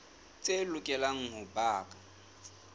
tse lokelang ho ba ka